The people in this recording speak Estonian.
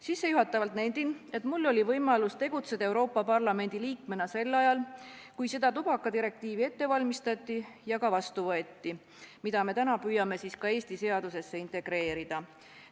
Sissejuhatavalt nendin, et mul oli võimalus tegutseda Euroopa Parlamendi liikmena sel ajal, kui valmistati ette ja võeti vastu see tubakadirektiiv, mida me täna püüame ka Eesti seadusesse integreerida.